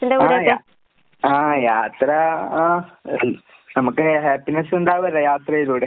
ആഹ് യാ ആഹ് യാത്ര ആഹ് നമുക്ക് ഹാപ്പിനെസ്സ് ഇണ്ടാവല്ലോ യാത്രയിലൂടെ.